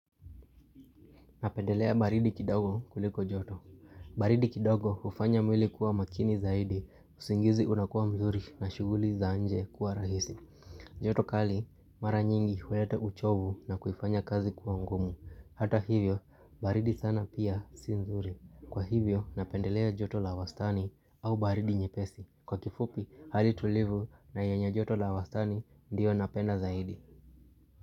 Napendelea baridi kidogo kuliko joto. Baridi kidogo hufanya mwili kuwa makini zaidi, usingizi unakuwa mzuri na shughuli za nje kuwa rahisi. Joto kali, mara nyingi huleta uchovu na kuifanya kazi kuwa ngumu. Hata hivyo, baridi sana pia si nzuri. Kwa hivyo, napendelea joto la wastani au baridi nyepesi. Kwa kifupi, hali tulivu na yenye joto la wastani ndiyo napenda zaidi.